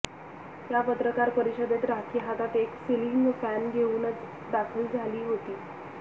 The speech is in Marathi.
या पत्रकार परिषदेत राखी हातात एक सिलिंग फॅन घेऊनच दाखल झाली होती